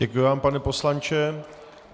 Děkuji vám, pane poslanče.